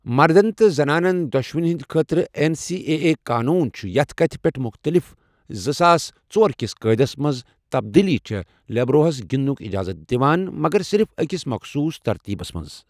مردن تہٕ زنانن دۄشوٕنی ہِنٛدِ خٲطرٕ ایٚن سی اے اے قونون چھِ یَتھ کتھِ پیٚٹھ مُختٔلِف، زٕساس ژورکس قٲیدس منٛز تبدیٖلی چھےٚ لِبیروہس گِنٛدنُک اِجازت دِوان، مگر صِرِف أکِس مخصوٗص ترتیبس منٛز۔